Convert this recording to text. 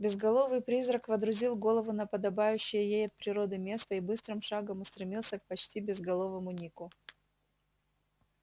безголовый призрак водрузил голову на подобающее ей от природы место и быстрым шагом устремился к почти безголовому нику